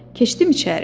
Keçdim içəri.